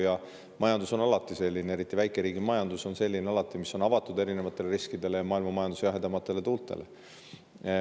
Riigi majandus, eriti väikeriigi majandus, on alati avatud erinevatele riskidele ja maailmamajanduse jahedamatele tuultele.